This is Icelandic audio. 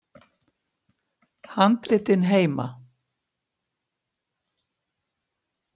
Mynd: Handritin heima.